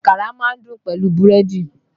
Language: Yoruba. Àkàrà ma ń dùn pẹ̀lú búrédì.